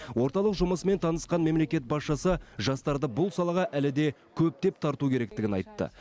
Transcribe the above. орталық жұмысымен танысқан мемлекет басшысы жастарды бұл салаға әлі де көптеп тарту керектігін айтты